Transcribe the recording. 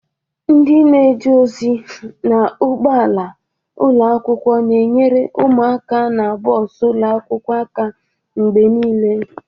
Ndị na-eje ozi n'ụgbọala ụlọ akwụkwọ na-enyere ụmụaka nọ na bọs ụlọ akwụkwọ aka mgbe niile.